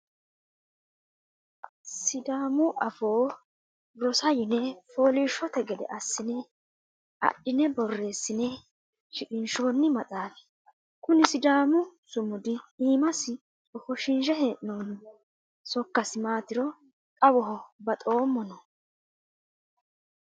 Sidaamu afoo rosa, yine foolishshote gede assine adhine borreessine shiqqinshoni maxaafi kuni sidaamu sumuda iimasi ofoshishe hee'noonni sokkasi maatiro xawoho baxoommono.